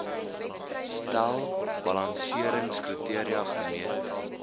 stel balanseringskriteria gemeet